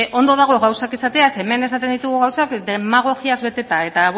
ondo dago gauzak esatea ze hemen esaten ditugu gauzak demagogiaz beteta eta